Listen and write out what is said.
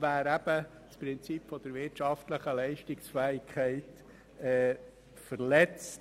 Dann wäre das Prinzip der wirtschaftlichen Leistungsfähigkeit verletzt.